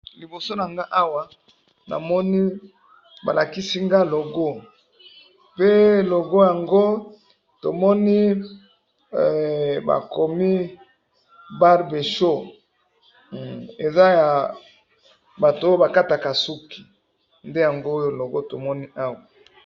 Liboso na nga awa namoni balakisi nga logo pe tomoni bakomi BARBER SHOP eza ya batu oyo bakataka suki.